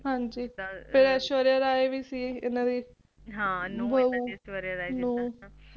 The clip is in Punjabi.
ਹਾਂਜੀ ਹਾਂਜੀ ਤੇ Aishwarya Rai ਵੀ ਸੀ ਇਹਨਾਂ ਦੀ ਬਹੁ ਨੂੰ